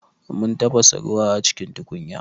Mun tafasa ruwa a cikin tukunya.